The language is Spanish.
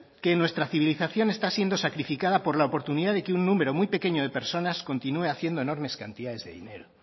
que nuestra civilización está siendo sacrificada por la oportunidad de que un número muy pequeño de personas continúe haciendo enormes cantidades de dinero